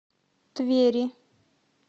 твери